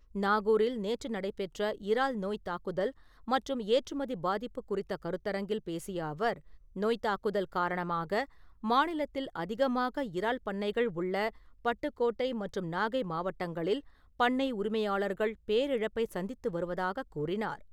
நாகூரில் நேற்று நடைபெற்ற இறால் நோய் தாக்குதல் மற்றும் ஏற்றுமதி பாதிப்பு குறித்த கருத்தரங்கில் பேசிய அவர், நோய்த் தாக்குதல் காரணமாக மாநிலத்தில் அதிகமாக இறால் பண்ணைகள் உள்ள பட்டுக்கோட்டை மற்றும் நாகை மாவட்டங்களில் பண்ணை உரிமையாளர்கள் பேரிழப்பை சந்தித்து வருவதாகக் கூறினார்.